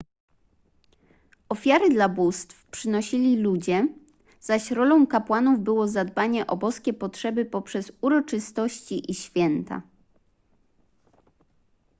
ofiary dla bóstw przynosili ludzie zaś rolą kapłanów było zadbanie o boskie potrzeby poprzez uroczystości i święta